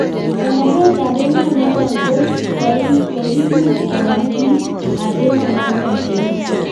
Konorwet ap emonotok ko kokimuch kewal piik ap emonotok kou